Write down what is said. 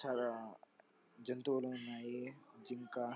చాలా జంతువులున్నాయి.జింక--